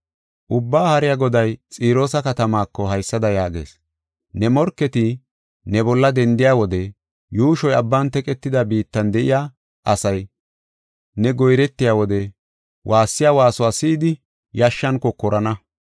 “Ubbaa Haariya Goday Xiroosa katamaako haysada yaagees: ‘Ne morketi ne bolla dendiya wode yuushoy abban teqetida biittan de7iya asay, ne goyretiya wode waassiya waasuwa si7idi, yashshan kokorana.